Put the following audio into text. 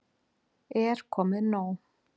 Er komið nóg?